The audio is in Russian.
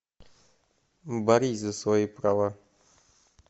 борись за свои права